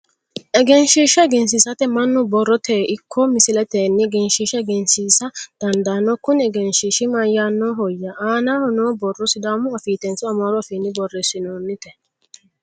Egensiishsha egensiisate mannu borroteyi ikko misileteyi egensiishsha egensiisa dandaanno Kuni egensiishshi mayiinnihoyya? Aanaho noo borro sidaamu afiitenso amaaru afiinni borreessinoonite?